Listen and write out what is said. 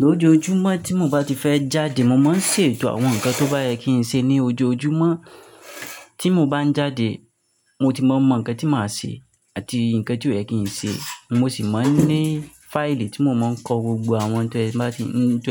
Lójojúmọ́ tí mo bá ti fẹ́ jáde, mo máa ń ṣe ètò àwọn nǹkan tó bá yẹ kí n ṣe ní ojoojúmọ́. Tí mo bá ń jáde mo ti mọ mo nǹkan tí màá ṣe àti nǹkan tí ó yẹ kí n ṣe. Mo sì máa ń ní fáìlì tí mo máa ń kọ gbogbo àwọn n te teba ti e n